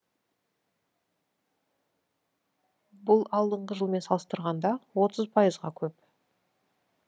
бұл алдыңғы жылмен салыстырғанда отыз пайызға көп